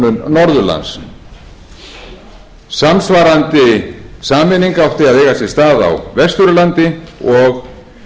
norðurlands samsvarandi sameining átti að eiga sér stað á vesturlandi og